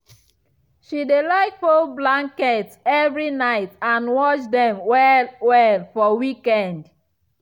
she dey like fold blankets evri night and wash dem well-well for weekend.